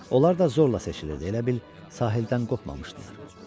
Onlar da zorla seçilirdi, elə bil sahildən qopmamışdılar.